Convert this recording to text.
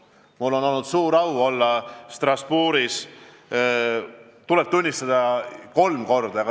Mul on olnud suur au esineda Strasbourgis, tuleb tunnistada, kolm korda.